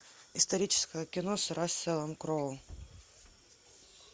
историческое кино с расселом кроу